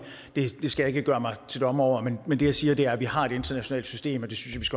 skal jeg ikke gøre mig til dommer over men det jeg siger er at vi har et internationalt system og det synes